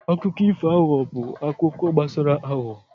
Akụkọ ifo aghụghọ bụ akụkọ gbasara aghụghọ.